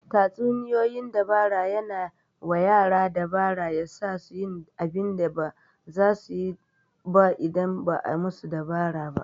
Tatsuniyoyin dabara yana wa yara dabara ya sasu yin abinda ba zasu suyi ba indan ba'a musu dabara ba